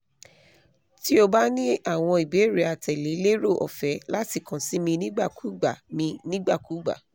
ti o ba ni awọn ibeere atẹle lero ọfẹ lati kan si mi nigbakugba mi nigbakugba